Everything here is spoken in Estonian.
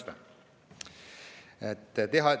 – 10. märts.